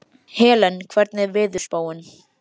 Helen, hvernig er veðurspáin?